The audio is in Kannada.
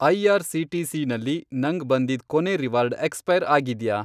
ಐ.ಆರ್.ಸಿ.ಟಿ.ಸಿ. ನಲ್ಲಿ ನಂಗ್ ಬಂದಿದ್ ಕೊನೇ ರಿವಾರ್ಡ್ ಎಕ್ಸ್ಪೈರ್ ಆಗಿದ್ಯಾ?